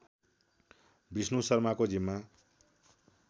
विष्णु शर्माको जिम्मा